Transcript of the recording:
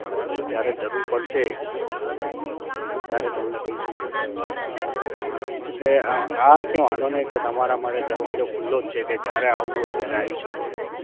હમ જ્યારે જરૂર પડશે ત્યારે તમને કહીશું sir એટલું કે હા કે વાંધો નઇ કે તમારા માટે દરવાજો ખુલ્લો જ છે કે જયારે આવું હોય ત્યારે આઈ શકો છો